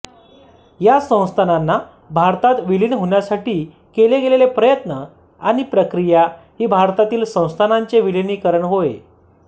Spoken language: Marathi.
या संस्थानांना भारतात विलीन होण्यासाठी केले गेलेले प्रयत्न आणि प्रक्रिया ही भारतातील संस्थानांचे विलीनीकरण होय